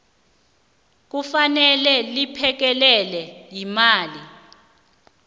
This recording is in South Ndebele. kufanele liphekelelwe yimali